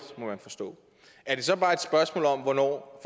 må man forstå er det så bare et spørgsmål om hvornår